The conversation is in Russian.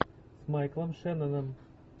с майклом шенноном